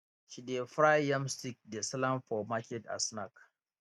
she dey fry yam stick dey sell am for market as snack